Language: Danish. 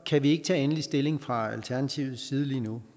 kan vi ikke tage endelig stilling fra alternativets side lige nu